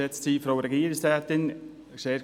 Kommissionssprecher